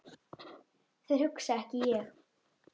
Þeir hugsa ekki ég.